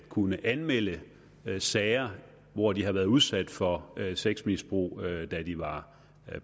kunne anmelde sager hvor de har været udsat for sexmisbrug da de var